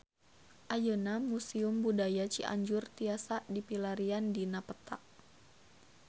Ayeuna Museum Budaya Cianjur tiasa dipilarian dina peta